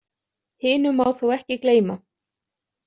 Hinu má þó ekki gleyma.